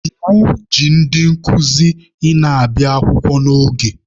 Iwu ji ndị nkuzi ị na-abịa akwụkwọ n'oge.